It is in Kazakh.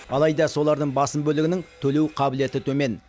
алайда солардың басым бөлігінің төлеу қабілеті төмен